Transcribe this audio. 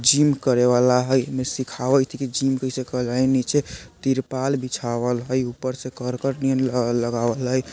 जिम करेवाला हई एमे सिखावइत हई की जिम कइसे नीचे तिरपाल बीछवाल हई ऊपर से करकट नियर लगल लगावल हई।